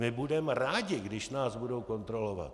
My budeme rádi, když nás budou kontrolovat.